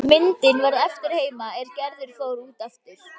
Myndin varð eftir heima er Gerður fór út aftur.